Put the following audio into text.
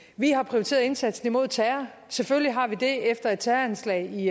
vi har prioriteret indsatsen imod terror selvfølgelig har vi det efter et terroranslag i